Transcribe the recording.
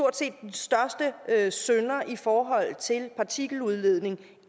synder i forhold til partikeludledningen